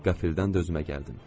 Qəfildən özümə gəldim.